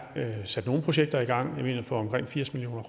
sat nogle projekter i gang for omkring firs million